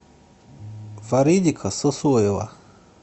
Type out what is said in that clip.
фаридика сысоева